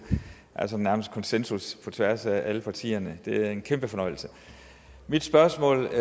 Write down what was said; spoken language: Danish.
nærmest er konsensus på tværs af alle partierne det er en kæmpe fornøjelse mit spørgsmål